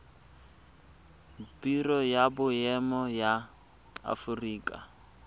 biro ya boemo ya aforika